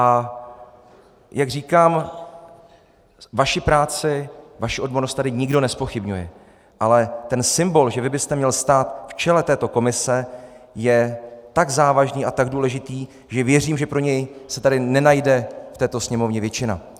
A jak říkám, vaši práci, vaši odbornost tady nikdo nezpochybňuje, ale ten symbol, že vy byste měl stát v čele této komise, je tak závažný a tak důležitý, že věřím, že pro něj se tady nenajde v této Sněmovně většina!